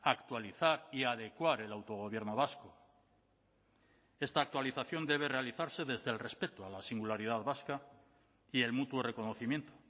actualizar y adecuar el autogobierno vasco esta actualización debe realizarse desde el respeto a la singularidad vasca y el mutuo reconocimiento